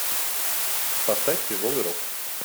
поставь тяжелый рок